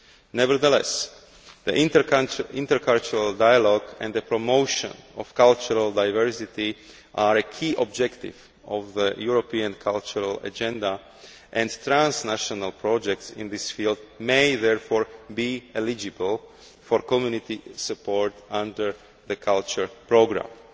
Nevertheless, intercultural dialogue and the promotion of cultural diversity are key objectives of the European cultural agenda, and transnational projects in this field may therefore be eligible for Community support under the culture programme.